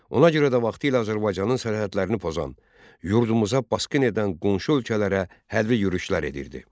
Ona görə də vaxtilə Azərbaycanın sərhədlərini pozan, yurdumuza basqın edən qonşu ölkələrə hərbi yürüşlər edirdi.